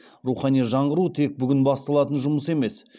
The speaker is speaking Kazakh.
рухани жаңғыру тек бүгін басталатын жұмыс емес